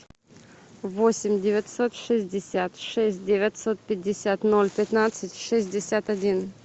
восемь девятьсот шестьдесят шесть девятьсот пятьдесят ноль пятнадцать шестьдесят один